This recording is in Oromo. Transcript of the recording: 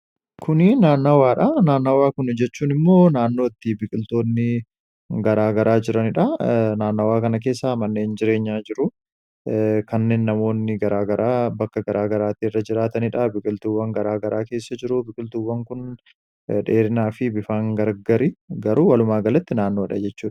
kunii naannawaadha naannawaa kun jechuun immoo naannootti biqiltoonninaannawaa kana keessa manneen jireenyaa jiru kanneen namoonni garaa garaa bakka garaa garaatii irra jiraataniidha biqiltuuwwan garaa garaa keessa jiru biqiltuuwwan kun dheerinaa fi bifaan gargari garuu walumaa galatti naannoodha jechuudha